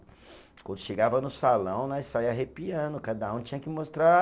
Quando chegava no salão, nós saía arrepiando, cada um tinha que mostrar